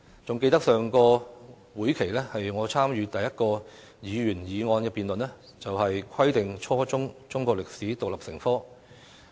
還記得在上個會期，我參與辯論的首項議員議案，就是"規定初中中國歷史獨立成科"的議案。